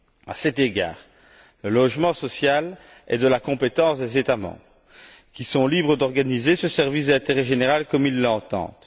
À cet égard, le logement social est de la compétence des États membres, qui sont libres d'organiser ce service d'intérêt général comme ils l'entendent.